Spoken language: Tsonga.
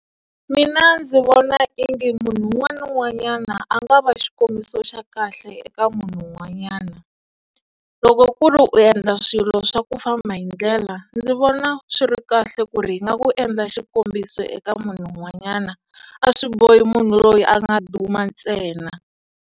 Mina ndzi vona ingi munhu un'wana na un'wanyana a nga va xikombiso xa kahle eka munhu un'wanyana. Loko ku ri u endla swilo swa ku famba hi ndlela ndzi vona swi ri kahle ku ri hi nga ku endla xikombiso eka munhu un'wanyana, a swi bohi munhu loyi a nga duma ntsena.